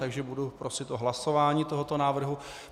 Takže budu prosit o hlasování tohoto návrhu.